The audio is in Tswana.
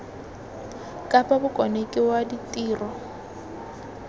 kapa bokone ke wa ditiro